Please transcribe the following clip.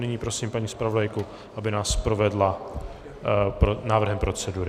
Nyní prosím paní zpravodajku, aby nás provedla návrhem procedury.